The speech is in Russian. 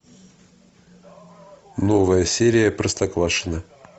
новая серия простоквашино